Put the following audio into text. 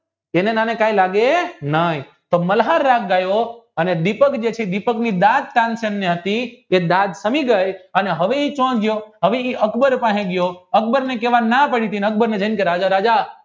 તેને અને આને કે લાગે નય મલ્હાર રાગ ગયો અને દીપની સામે હવે એ અકબર પાસે ગયો અને અકબર ને કેવાની ના પડી હતી ને અકબર ને કી રાજા રાજા